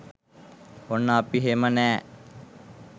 ඔන්න අපි හෙම නෑ